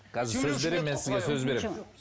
қазір сөз беремін мен сізге сөз беремін